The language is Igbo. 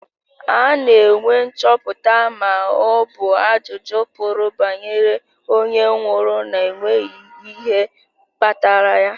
Ana enwe nchọpụta ma ọbụ ajụjụ pụrụ banyere onye nwụrụ na-enweghị ihe kpatara ya.